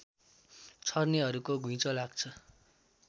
छर्नेहरूको घुइँचो लाग्छ